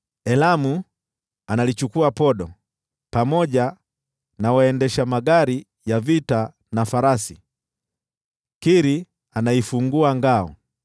Elamu analichukua podo, pamoja na waendesha magari ya vita na farasi. Kiri anaifungua ngao.